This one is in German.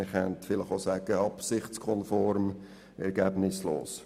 Man könnte vielleicht auch sagen «absichtskonform ergebnislos».